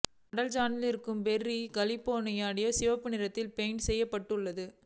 அடல் சஜனிடம் இருக்கும் Ferrari California T சிகப்பு நிறத்தில் பெயிண்ட் செய்யப்பட்டுள்ளது